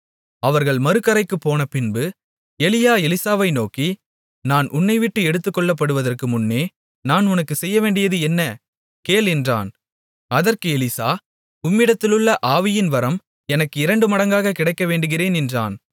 அவர்கள் மறுகரைக்குப் போனபின்பு எலியா எலிசாவை நோக்கி நான் உன்னைவிட்டு எடுத்துக்கொள்ளப்படுவதற்கு முன்னே நான் உனக்குச் செய்யவேண்டியது என்ன கேள் என்றான் அதற்கு எலிசா உம்மிடத்திலுள்ள ஆவியின்வரம் எனக்கு இரண்டு மடங்காகக் கிடைக்க வேண்டுகிறேன் என்றான்